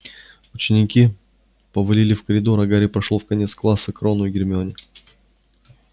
ученики повалили в коридор а гарри прошёл в конец класса к рону и гермионе